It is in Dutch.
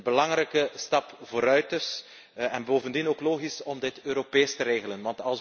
Een belangrijke stap vooruit dus en bovendien ook logisch om dit Europees te regelen.